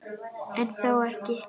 En þó ekki.